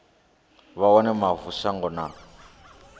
vha wane mavu shango na